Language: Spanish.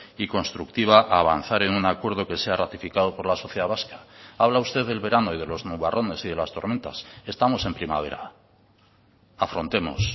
y constructiva a avanzar en un acuerdo que sea ratificado por la sociedad vasca habla usted del verano y de los nubarrones y de las tormentas estamos en primavera afrontemos